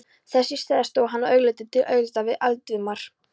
Þess í stað stóð hann augliti til auglitis við Valdimar